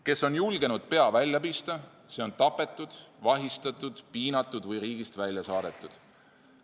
Kes on julgenud pea välja pista, see on tapetud, vahistatud, piinatud või riigist välja saadetud.